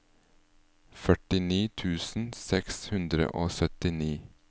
førtini tusen seks hundre og syttini